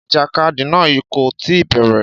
Ìjàkadì náà kò tí ì bẹ̀rẹ̀.